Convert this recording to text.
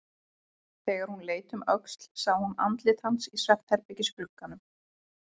Þegar hún leit um öxl sá hún andlit hans í svefnherbergisglugganum.